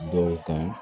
Dɔw kan